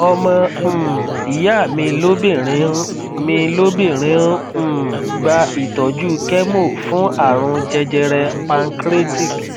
ọmọ um ìyá mi lóbìnrin n mi lóbìnrin ń um gba ìtọjú chemo fún àrùn jẹjẹrẹ pancreatic